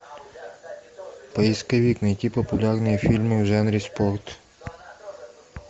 поисковик найти популярные фильмы в жанре спорт